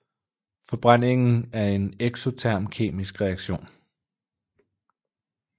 Forbrændingen er en eksoterm kemisk reaktion